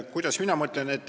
Kuidas mina mõtlen?